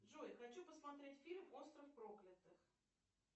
джой хочу посмотреть фильм остров проклятых